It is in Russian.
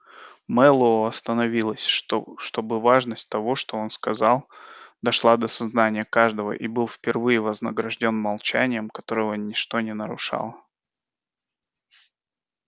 мэллоу остановился чтобы важность того что он сказал дошла до сознания каждого и был впервые вознаграждён молчанием которого ничто не нарушало